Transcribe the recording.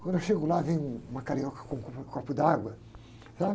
Quando eu chego lá, vem um, uma carioca com, com, com um copo d'água, sabe?